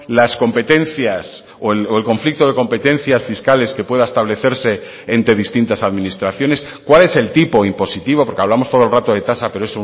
las competencias o el conflicto de competencias fiscales que pueda establecerse entre distintas administraciones cuál es el tipo impositivo porque hablamos todo el rato de tasa pero